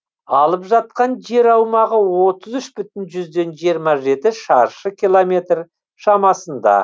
алып жатқан жер аумағы отыз үш бүтін жүзден жыирма жеті шаршы километр шамасында